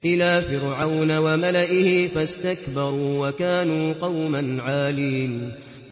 إِلَىٰ فِرْعَوْنَ وَمَلَئِهِ فَاسْتَكْبَرُوا وَكَانُوا قَوْمًا عَالِينَ